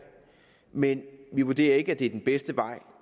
men vi vurderer ikke at det er den bedste vej